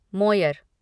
Moyer